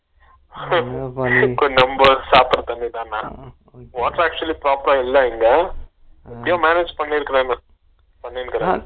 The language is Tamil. இல்ல எப்பயோ manage பண்ணிருக்கேன்னா சமையல் கூட